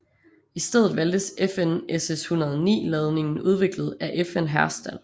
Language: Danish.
I stedet valgtes FN SS109 ladningen udviklet af FN Herstal